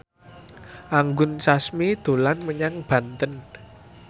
Anggun Sasmi dolan menyang Banten